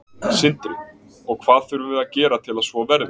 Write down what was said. Sindri: Og hvað þurfum við að gera til að svo verði?